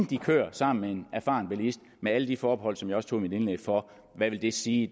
de kører sammen med en erfaren bilist med alle de forbehold som jeg også tog i mit indlæg for hvad det vil sige